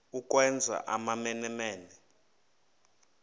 ukwenza amamene mene